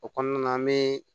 O kɔnɔna na an bɛ